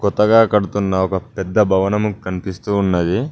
కొత్తగా కడుతున్న ఒక పెద్ద భవనము కనిపిస్తూ ఉన్నది.